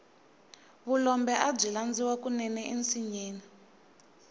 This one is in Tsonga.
vulombe abyi landziwa kunene ensinyeni